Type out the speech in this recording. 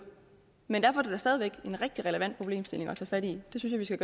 men derfor er det da stadig væk en rigtig relevant problemstilling at tage fat i det synes jeg